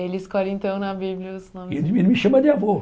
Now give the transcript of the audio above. Ele escolhe então na Bíblia os nomes... Ele me chama de avô.